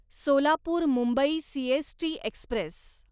Solapur Mumbai CST Express